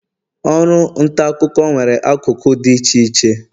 oru nta akuko nwere akụkụ di iche iche.